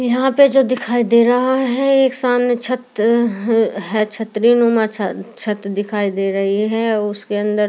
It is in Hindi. यहाँ पे जो दिखाई दे रहा है एक सामने छत है छत्री नुमा छत छत दिखाई दे रही है उसके अंदर --